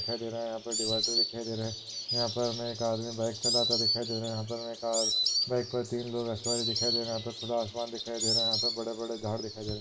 दिखाई दे रहा है यहा पे डिवैडर दिखाई दे रहे यहा पर एक आदमी बाइक चलाता दिखाई दे रहा है यहा पर हमे एक और बाइक पर तीन लोग सवार दिखाई दे रहा यहा पर खुला आसमान दिखाई दे रहा यहा पे बड़े-बड़े झाड़ दिखाई दे रहे।